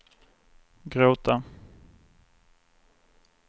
gråta